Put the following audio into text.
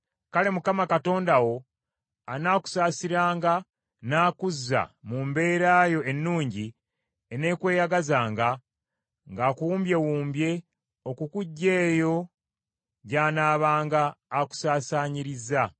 kale Mukama Katonda wo anaakusaasiranga n’akuzza mu mbeera yo ennungi eneekweyagazanga, ng’akuwumbyewumbye okukuggya eyo gy’anaabanga akusaasaanyirizza.